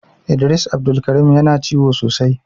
Idris Abdulkareem Yana ciwo sosai.